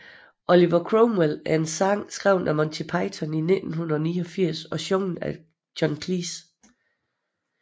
Oliver Cromwell er en sang skrevet af Monty Python i 1989 og sunget af John Cleese